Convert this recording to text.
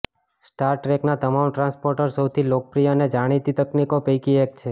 star ટ્રેકના તમામ transporter સૌથી લોકપ્રિય અને જાણીતી તકનીકો પૈકી એક છે